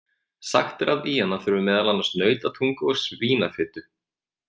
Sagt er að í hana þurfi meðal annars nautatungu og svínafitu.